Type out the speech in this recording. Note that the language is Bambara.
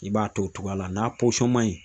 I b'a to o togoya la. N'a ma ɲi